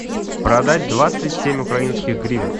продать двадцать семь украинских гривен